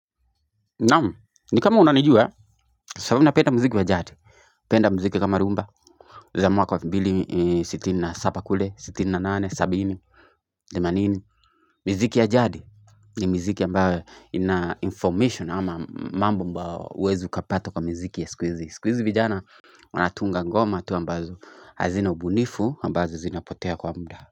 Naam ni kama unanijua sababu napenda mziki wa jadi napenda mziki kama rumba za mwaka wa elfu mbili, siti na saba kule sitini nane, sabini themanini, miziki ya jadi ni miziki ambayo ina information ama mambo ambao huwezi kupata kwa miziki ya siku hizi, siku hizi vijana Wanatunga ngoma tu ambazo hazina ubunifu ambazo zinapotea kwa muda.